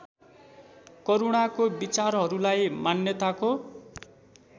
करूणाको विचारहरूलाई मान्यताको